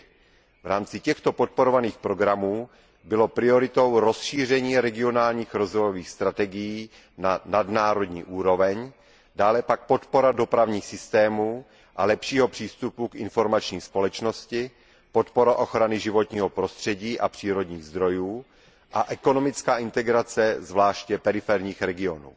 3. V rámci těchto podporovaných programů bylo prioritou rozšíření regionálních rozvojových strategií na nadnárodní úroveň, dále pak podpora dopravních systémů a lepšího přístupu k informační společnosti, podpora ochrany životního prostředí a přírodních zdrojů a ekonomická integrace zvláště periferních regionů.